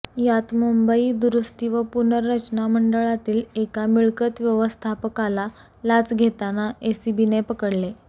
यात मुंबई दुरुस्ती व पुनर्रचना मंडळातील एका मिळकत व्यवस्थापकाला लाच घेताना एसीबीने पकडले